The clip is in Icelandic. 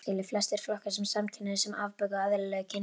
Flestir flokka samkynhneigð sem afbökun á eðlilegu kynlífi.